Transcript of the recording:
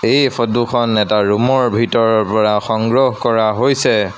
এই ফটো খন এটা ৰুম ৰ ভিতৰৰ পৰা সংগ্ৰহ কৰা হৈছে।